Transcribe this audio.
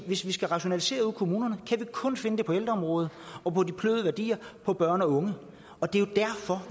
hvis vi skal rationalisere ude i kommunerne kan vi kun finde det på ældreområdet og på de bløde værdier på børn og unge det er jo derfor